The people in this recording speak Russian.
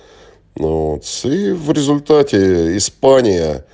молодцы в результате испания